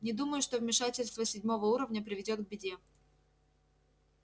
не думаю что вмешательство седьмого уровня приведёт к беде